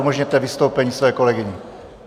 Umožněte vystoupení své kolegyně.